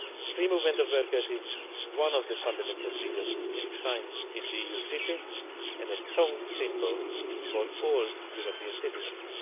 Free movement of workers is one of the fundamental freedoms enshrined in the EU Treaty and a strong symbol for all European citizens.